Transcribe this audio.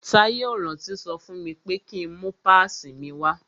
Táyé ò rántí sọ fún mi pé ki ń mú pásìì mi wá.